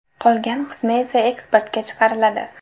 Qolgan qismi esa eksportga chiqariladi.